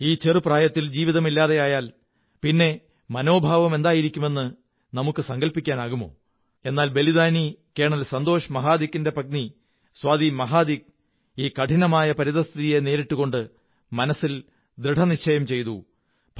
ഈ ചെറു പ്രായത്തിൽ ജീവിതം ഇല്ലാതെയായാൽ പിന്നെ മനോഭാവം എന്തായിരിക്കുമെന്ന് നമുക്കു സങ്കല്പിക്കാനാകുമോ എന്നാൽ ബലിദാനി കേണൽ സന്തോഷ് മഹാദിക്കിന്റെ പത്നി സ്വാതി മഹാദിക് ഈ കഠിനമായ പരിതഃസ്ഥിതിയെ നേരിട്ടുകൊണ്ട് മനസ്സിൽ ദൃഢനിശ്ചയം ചെയ്തു